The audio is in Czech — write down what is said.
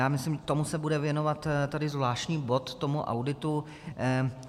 Já myslím, tomu se bude věnovat tady zvláštní bod, tomu auditu.